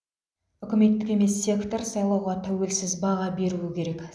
үкіметтік емес сектор сайлауға тәуелсіз баға беруі керек